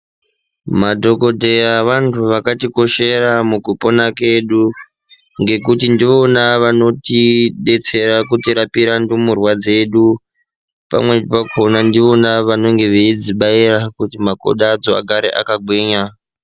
Madhokodheya vantu vakatikoshera mukupona kedu ngekuti ndivona vanotidetsera kutirapira ndumurwa dzedu. Pamweni pakona ndivona vanenge veyidzibayira kuti makodo acho agare akagwinya.